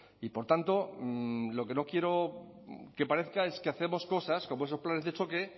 y por tanto lo que no quiero que parezca es que hacemos cosas como esos planes de choque